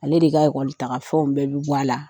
Ale de ka taga fɛnw bɛɛ bi bɔ a la.